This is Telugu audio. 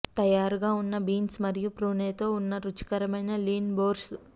తయారుగా ఉన్న బీన్స్ మరియు ప్రూనేతో ఉన్న రుచికరమైన లీన్ బోర్ష్